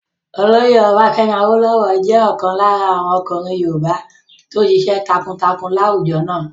Olóyè Ọbafẹ́mi Awólówọ̀ jẹ́ ọ̀kan lára àwọn ọkùnrin yoòbá tó ṣiṣẹ́ takuntakun láwùjọ náà